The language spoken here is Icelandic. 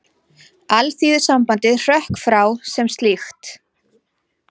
Alþýðusambandið hrökk frá sem slíkt